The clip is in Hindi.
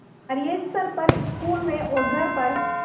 कार्यस्थल पर स्कूल में और घर पर